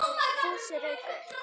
Fúsi rauk upp.